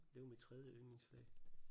Det var mit tredje yndlingsfag